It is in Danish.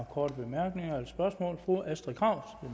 korte bemærkninger eller spørgsmål fru astrid krag